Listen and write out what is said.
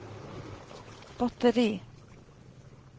batteri